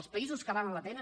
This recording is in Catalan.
els països que valen la pena